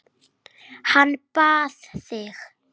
Hann bað þig.